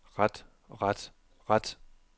ret ret ret